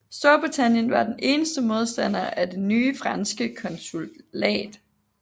Storbritannien var den eneste modstander af det nye franske konsulat